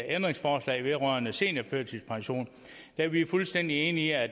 ændringsforslag vedrørende seniorførtidspension er vi fuldstændig enige i at